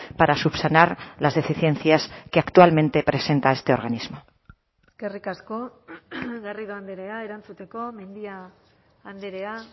para subsanar las deficiencias que actualmente presenta este organismo eskerrik asko garrido andrea erantzuteko mendia andrea